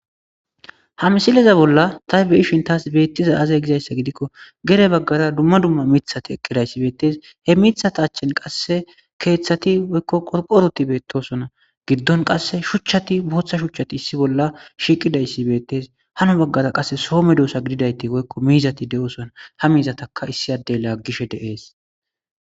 ha misileza bolla ta beishin taas beettiza azey gizayssa gidikko gere baggara dumma dumma mithati eqqidayssi beettes he mithata achchen qasse keeththati woykko qorqoroti beettosona giddon qasse shuchchati booththa shuchchati issi bolla shiiqidayssi beettes hano baggara qasse soome doosa gididayti woykko miizati de7osona ha miizataka issi addey laaggishe deees